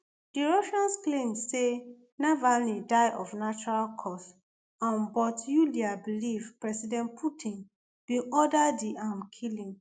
di russians claim say navalny die of natural cause[um] but yulia believe president putin bin order di um killing